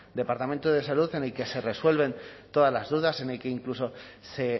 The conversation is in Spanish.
departamento de salud en el que se resuelven todas las dudas en el que incluso se